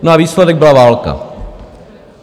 No a výsledek byla válka.